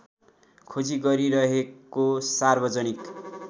खोजी गरिरहेको सार्वजनिक